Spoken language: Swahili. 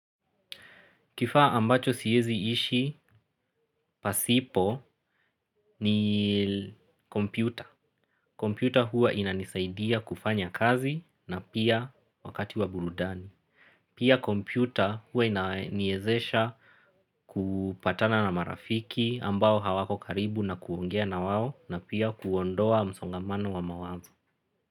Kifaa ambacho siezi ishi, pasipo ni kompyuta. Kompyuta huwa inanisaidia kufanya kazi na pia wakati wa burudani. Pia kompyuta huwa inaiezesha kupatana na marafiki ambao hawako karibu na kuongea na wao na pia kuondoa msongamano wa mawazo.